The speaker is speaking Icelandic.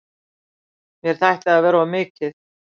Mér þætti það vera of mikið.